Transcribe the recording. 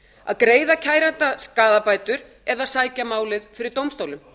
að greiða kæranda skaðabætur eða sækja málið fyrir dómstólum